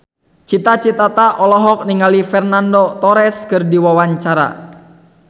Cita Citata olohok ningali Fernando Torres keur diwawancara